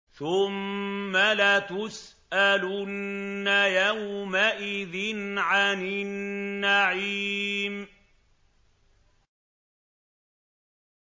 ثُمَّ لَتُسْأَلُنَّ يَوْمَئِذٍ عَنِ النَّعِيمِ